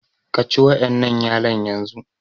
Ka ci wa'ƴannan yalon yanzu!